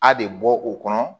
A de bɔ o kɔnɔ